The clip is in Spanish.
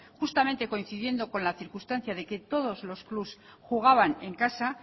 justamente coincidiendo con la circunstancia de que todos los clubs jugaban en casa